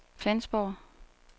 Flensborg